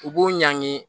U b'u ɲangi